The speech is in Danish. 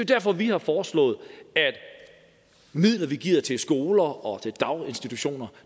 derfor vi har foreslået at midler vi giver til skoler og til daginstitutioner